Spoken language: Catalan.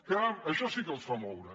caram això sí que els fa moure